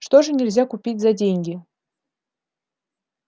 что же нельзя купить за деньги